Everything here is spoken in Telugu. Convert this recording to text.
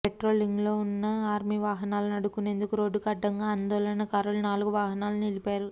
పెట్రోలింగ్లోవున్న ఆర్మీ వాహనాలను అడ్డుకునేందుకు రోడ్డుకు అడ్డంగా ఆందోళనకారులు నాలుగు వాహనాలను నిలిపారు